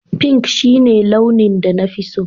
Pink shine launin da na fi so